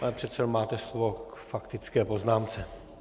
Pane předsedo, máte slovo k faktické poznámce.